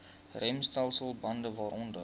remstelsel bande waaronder